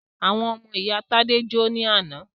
Àwọn ọmọ ìyá Tádé jó ní àná.